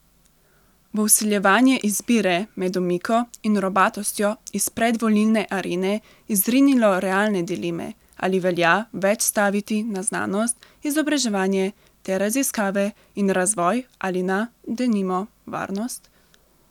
Bo vsiljevanje izbire med omiko in robatostjo iz predvolilne arene izrinilo realne dileme, ali velja več staviti na znanost, izobraževanje ter raziskave in razvoj ali na, denimo, varnost?